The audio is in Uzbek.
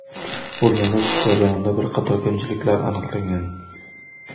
O‘rganish jarayonida bir qator kamchiliklar aniqlangan.